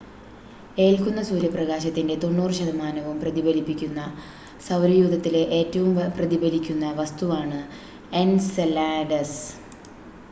ഏൽക്കുന്ന സൂര്യപ്രകാശത്തിൻ്റെ 90 ശതമാനവും പ്രതിഫലിപ്പിക്കുന്ന സൗരയൂഥത്തിലെ ഏറ്റവും പ്രതിഫലിക്കുന്ന വസ്തുവാണ് എൻസെലാഡസ്